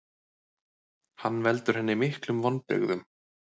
Hann veldur henni miklum vonbrigðum.